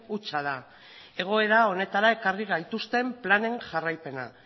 hutsa da egoera honetara ekarri gaituzten planen jarraipena